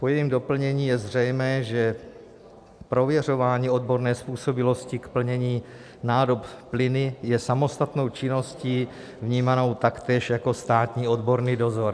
Po jejím doplnění je zřejmé, že prověřování odborné způsobilosti k plnění nádob plyny je samostatnou činností vnímanou taktéž jako státní odborný dozor.